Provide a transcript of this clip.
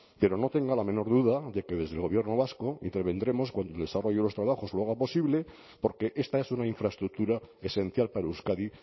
pero no tenga la menor duda de que desde el gobierno vasco intervendremos cuando el desarrollo de los trabajos lo haga posible porque esta es una infraestructura esencial para euskadi